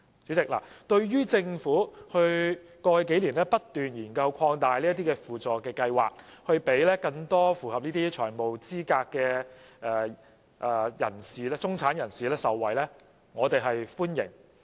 主席，對於政府在過去數年不斷研究擴大輔助計劃，讓更多符合財務資格的中產人士受惠，我們表示歡迎。